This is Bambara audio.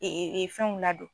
Fɛnw ladon.